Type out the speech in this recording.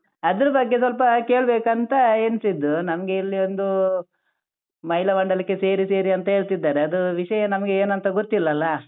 ಅದರ ಬಗ್ಗೆ ಸ್ವಲ್ಪ ಕೇಳ್ಬೇಕಂತ ಎಣಿಸಿದ್ದು ನಮ್ಗೆ ಇಲ್ಲಿ ಒಂದು ಮಹಿಳಾ ಮಂಡಲಕ್ಕೆ ಸೇರಿ ಸೇರಿ ಅಂತ ಹೇಳ್ತಿದ್ದಾರೆ ಅದು ವಿಷಯ ನಮ್ಗೆ ಏನಂತಾ ಗೊತ್ತಿಲಲಾ.